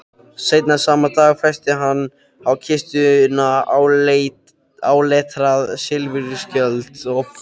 Seinna sama dag festi hann á kistuna áletraðan silfurskjöld.